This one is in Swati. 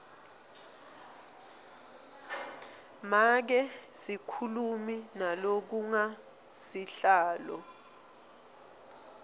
make sikhulumi nalokangusihlalo